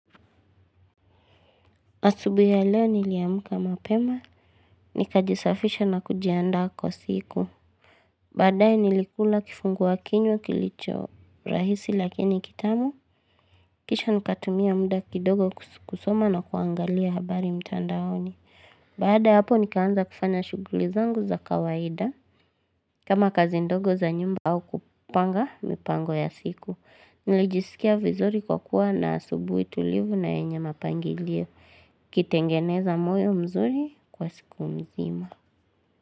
Asubuhi ya leo niliamka mapema, nikajisafisha na kujiandaa kwa siku. Baadaye nilikula kifungua kinywa kilicho rahisi lakini kitamu, kisha nikatumia muda kidogo kusoma na kuangalia habari mtandaoni. Baada ya hapo nikaanza kufanya shughuli zangu za kawaida, kama kazi ndogo za nyumba au kupanga mipango ya siku. Najisikia vizuri kwa kuwa na asubuhi tulivu na yenye mapangilio. Kitengeneza moyo mzuri kwa siku mzima.